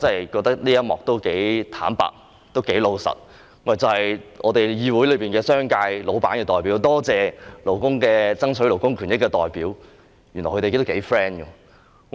我覺得這一番話相當坦白，亦相當老實，就是議會內商界老闆的代表，多謝爭取勞工權益的代表，原來他們感情非常好。